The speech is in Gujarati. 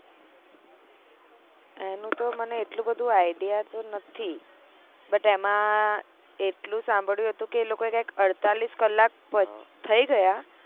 એનું તો મને એટલુ બધું idea તો નથી but એમાં એટલું સાંભળ્યું હતું કે એ લોકો એ કયક અડતાલીસ કલાક થય ગયા